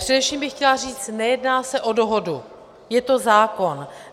Především bych chtěla říct, nejedná se o dohodu, je to zákon.